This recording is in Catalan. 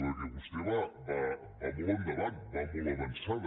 perquè vostè va molt endavant va molt avançada